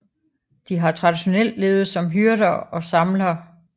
De har traditionelt levet som hyrder og samlere